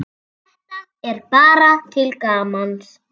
Þetta er bara til gamans.